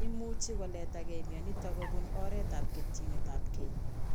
Imuchi koletagei mionitok kobun oretab ketchinetabge